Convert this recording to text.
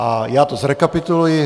A já to zrekapituluji.